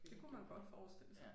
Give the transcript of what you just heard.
Det kunne man godt forestille sig